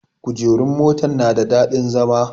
Kujerun motan na da daɗin zama